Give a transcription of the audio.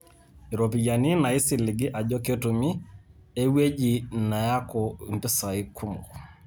Iropiyiani naisiligi ajo ketumi, ewueji neaku mpisai kumok.